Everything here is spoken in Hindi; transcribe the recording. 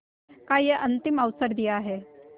का यह अंतिम अवसर दिया है